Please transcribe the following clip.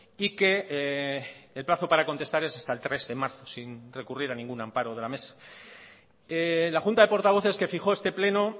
y que el plazo para contestar es hasta el tres de marzo sin recurrir a ningún amparo de la mesa la junta de portavoces que fijó este pleno